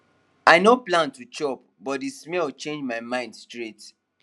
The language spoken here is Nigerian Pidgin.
i no plan to chop but the smell change my mind straight